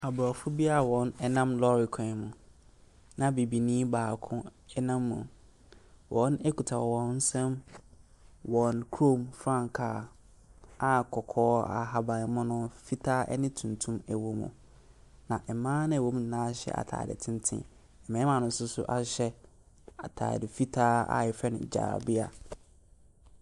Aborɔfo bi a wɔnam lɔɔre kwan mu, na Bibini baako nam mu. Wɔkita wɔn nsam wɔn kurom frankaa a kɔkɔɔ, ahabammono, fitaa ne tuntum wɔ mu. Na mmaa no a wɔwɔ mu no hyɛ atadeɛ tenten. Mmarima no nso ahyɛ atadeɛ fitaa a wɔfrɛ no jalabia.